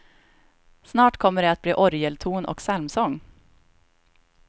Snart kommer det att bli orgelton och psalmsång.